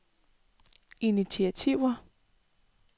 initiativer